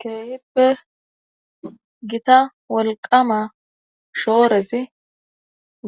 keehippe gita wolqama shoorezi